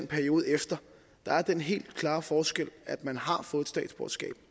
perioden efter der er den helt klare forskel at man har fået et statsborgerskab